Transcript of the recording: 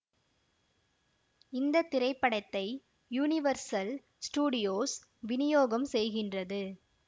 இந்த திரைப்படத்தை Universal Studios வினியோகம் செய்கின்றது